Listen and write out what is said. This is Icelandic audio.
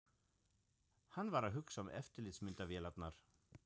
Hann var að hugsa um eftirlitsmyndavélarnar.